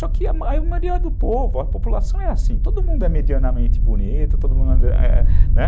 Só que a a maioria do povo, a população é assim, todo mundo é medianamente bonito, todo mundo é, né?